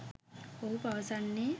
ඔහු පවසන්නේ